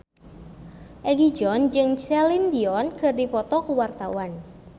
Egi John jeung Celine Dion keur dipoto ku wartawan